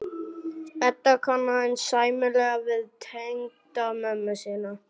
Edda kann aðeins sæmilega við tengdamömmu sína.